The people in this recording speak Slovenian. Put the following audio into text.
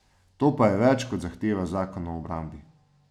To pa je več, kot zahteva zakon o obrambi.